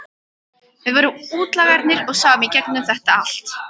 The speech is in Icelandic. Við vorum útlagarnir og sáum í gegnum þetta allt.